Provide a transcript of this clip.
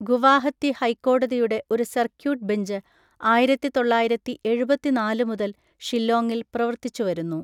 ഗുവാഹത്തി ഹൈക്കോടതിയുടെ ഒരു circuit bench ആയിരത്തി തൊള്ളായിരത്തി എഴുപത്തിനാല് മുതൽ ഷില്ലോങ്ങിൽ പ്രവൃത്തിച്ചു വരുന്നു.